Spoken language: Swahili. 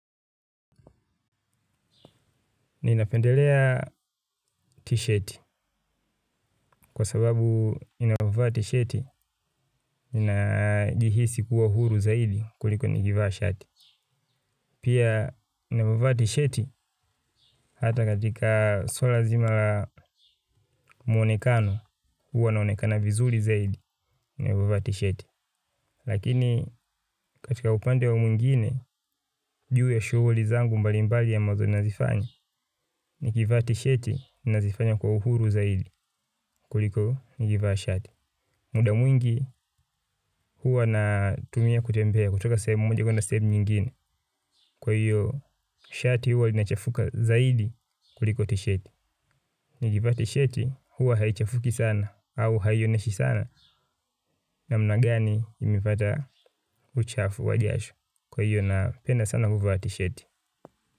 Kwa sababu ninavaa tisheti, ninajihisi kuwa huru zaidi kuliko nikivaa shati. Pia ninavovaa sheti, hata katika swala zima mwonekano, huwa naonekana vizuri zaidi, ninavovaa tisheti. Lakini katika upande wa mwingine, ujue shughli zangu mbalimbali ambazo nazifanya, inikivaa tisheti, nazifanya kwa uhuru zaidi kuliko nikivaa shati. Muda mwingi huwa na tumia kutembea kutoka sehemu moja kwenda sehemu nyingine. Kwa hiyo shati huwa lina chafuka zaidi kuliko tisheti. Nikivaa tisheti huwa haichafuki sana au haioneshi sana namna gani nimepata uchafu wa jasho. Kwa hiyo napenda sana kuvaa tisheti.